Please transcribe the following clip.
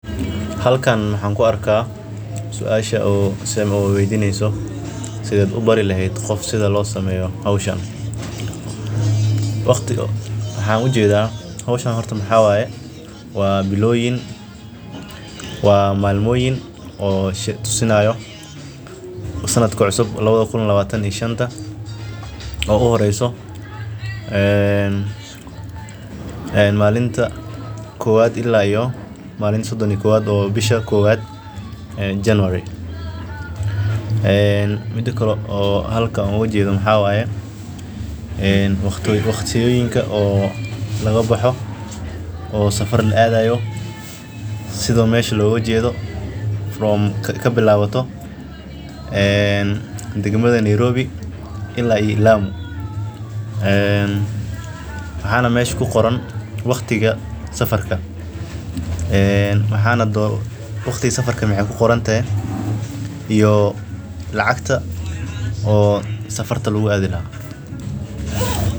Halkan waxaan ku arkaa suashan oo weydinaayo sidee ubari leheed qofka sida loo baro howshan waa howl aad ufican oo nafaqeeana waa meel wax yaaba fara badan ayeey ledahay wadoyinka ayaa lagu darsadaa suugada waxeey ledahay xoogsin loo jeedo kabilabato degmada Nairobi ilaa lamu waqtiga safarka ayaa kuqoran iyo lacagta.